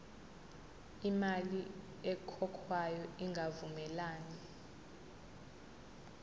imali ekhokhwayo ingavumelani